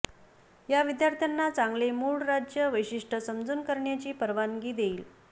या विद्यार्थ्यांना चांगले मुळ राज्य वैशिष्ट्य समजून करण्याची परवानगी देईल